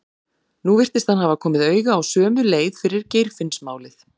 Nú virtist hann hafa komið auga á sömu leið fyrir Geirfinnsmálið.